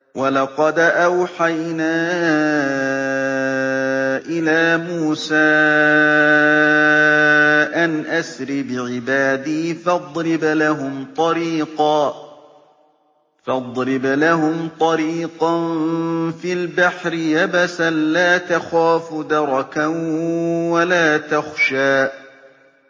وَلَقَدْ أَوْحَيْنَا إِلَىٰ مُوسَىٰ أَنْ أَسْرِ بِعِبَادِي فَاضْرِبْ لَهُمْ طَرِيقًا فِي الْبَحْرِ يَبَسًا لَّا تَخَافُ دَرَكًا وَلَا تَخْشَىٰ